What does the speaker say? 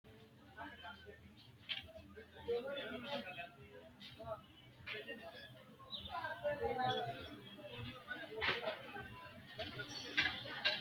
kowiicho leellannni noori hiito kaamerinni haa'noonni misileeti ? kunu mule leellannohu kuulu hiittooho ullaydi maa lawanno ? mannu afanno gede assate yine loonsoonnireeti kuri